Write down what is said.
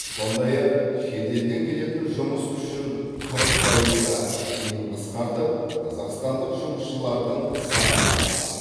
сондай ақ шет елден келетін жұмыс күшін қырық пайызға дейін қысқартып қазақстандық жұмысшылардың санын арттыру